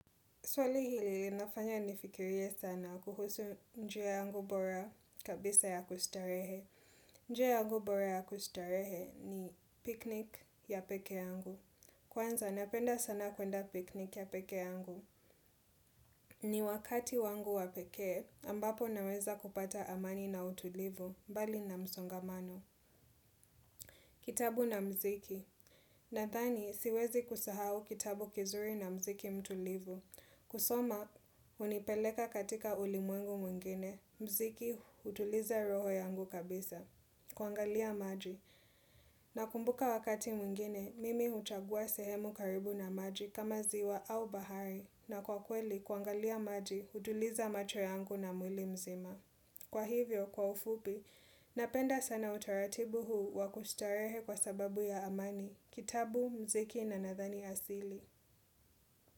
Swali hili linafanya nifikirie sana kuhusu njia yangu bora kabisa ya kustarehe. Njia yangu bora ya kustarehe ni piknik ya peke yangu. Kwanza napenda sana kwenda piknik ya peke yangu. Ni wakati wangu wa pekee ambapo naweza kupata amani na utulivu mbali na msongamano. Kitabu na mziki. Nadhani siwezi kusahau kitabu kizuri na mziki mtulivu. Kusoma, hunipeleka katika ulimwengu mwengine. Mziki hutuliza roho yangu kabisa kuangalia maji. Nakumbuka wakati mwengine, mimi huchagua sehemu karibu na maji kama ziwa au bahari. Na kwa kweli, kuangalia maji, hutuliza macho yangu na mwili mzima. Kwa hivyo, kwa ufupi, Napenda sana utaratibu huu wakustarehe kwa sababu ya amani, kitabu, mziki na nadhani asili.